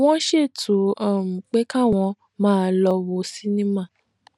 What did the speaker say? wón ṣètò um pé káwọn máa lọ wo sinimá